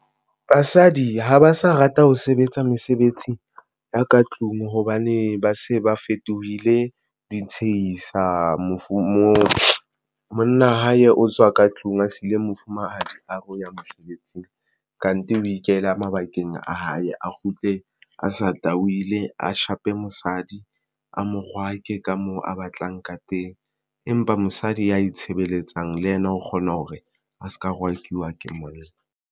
Basadi ha ba sa rata ho sebetsa mesebetsi ya ka tlung hobane ba se ba fetohile di tshehisa monna hae o tswa ka tlung a siile mofumahadi a re o ya mosebetsing kante ho ikela mabakeng a hae. A kgutle a sa tahilwe a shape mosadi a mo rwake ka moo a batlang ka teng, empa mosadi ya itshebeletsang le yena o kgona hore a se ka rwakiwe ke monna.